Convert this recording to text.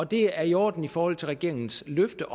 det er i orden i forhold til regeringens løfte